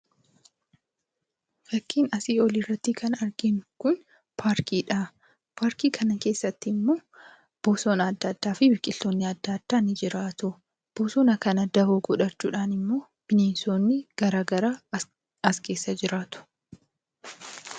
Fakkiin asii olitti kan arginu kun paarkiidha. Paarkii kana keessattimmoo bosona adda addaafi biqiltoonni adda addaa ni jiraatu. Bosona kana dawoo godhachuudhaan immoo bineensonni garagaraa as keessa jiraatu.